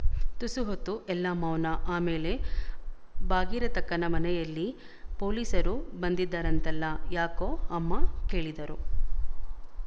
ತುಸು ಹೊತ್ತು ಎಲ್ಲ ಮೌನ ಆಮೇಲೆ ಭಾಗೀರತಕ್ಕನ ಮನೆಯಲ್ಲಿ ಪೊೀಲೀಸರು ಬಂದಿದ್ದರಂತಲ್ಲ ಯಾಕೊ ಅಮ್ಮ ಕೇಳಿದಳು